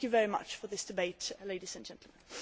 Thank you very much for this debate ladies and gentlemen.